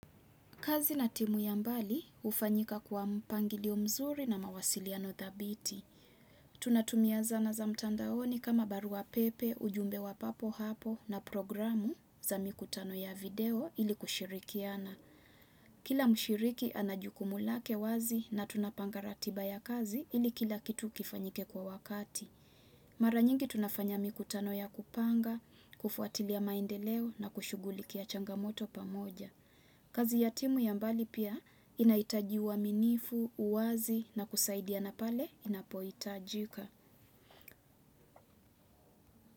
Kazi na timu ya mbali hufanyika kwa mpangilio mzuri na mawasiliano thabiti. Tunatumia zana za mtandaoni kama barua pepe, ujumbe wa papo hapo na programu za mikutano ya video ili kushirikiana. Kila mshiriki ana jukumu lake wazi na tunapanga ratiba ya kazi ili kila kitu kifanyike kwa wakati. Mara nyingi tunafanya mikutano ya kupanga, kufuatilia maendeleo na kushugulikia changamoto pamoja. Kazi ya timu ya mbali pia inahitaji uaminifu, uwazi na kusaidiana pale inapohitajika.